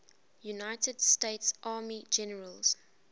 united states army generals